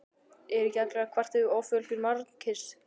Eru ekki allir að kvarta yfir offjölgun mannkynsins?